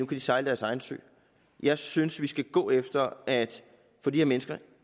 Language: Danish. de sejle deres egen sø jeg synes vi skal gå efter at få de her mennesker